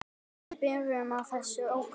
Við byrjum á þessum ókunna.